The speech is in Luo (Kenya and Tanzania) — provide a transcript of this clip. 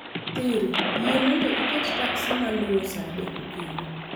siri, yie mondo iket taksi maluwo saa adek okinyi